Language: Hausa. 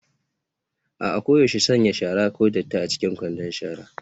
A'a, koyaushe sanya shara (ko datti) a cikin kwandon shara.